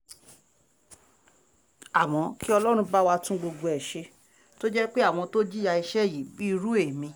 àmọ́ kí ọlọ́run bá wa tún gbogbo ẹ̀ ṣe tó jẹ́ pé àwọn tó jìyà iṣẹ́ yìí bíi irú ẹ̀mí